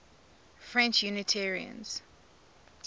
french unitarians